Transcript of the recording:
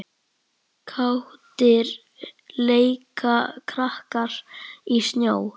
Kátir leika krakkar í snjó.